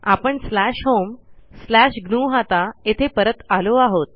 आपणslash home slash ग्नुहता येथे परत आलो आहोत